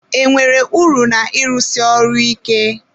E nwere uru na ịrụsi ọrụ ike?